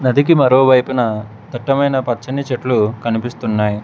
నదికి మరోవైపున దట్టమైన పచ్చని చెట్లు కనిపిస్తున్నాయి.